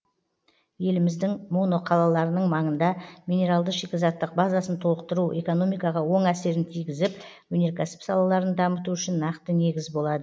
еліміздің моноқалаларының маңында минералды шикізаттық базасын толықтыру экономикаға оң әсерін тигізіп өнеркәсіп салаларын дамыту үшін нақты негіз болады